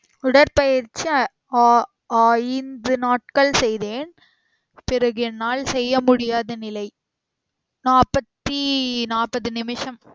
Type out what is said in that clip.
உடற்பயிற்சி ஆ~ ஐந்து நாட்கள் செய்தேன் பிறகு என்னால் செய்ய முடியாத நிலை நாற்ப்பத்தி நாற்பது நிமிஷம்